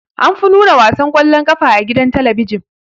Anfi nuna wasan kwallon ƙafa a gidan talabijin.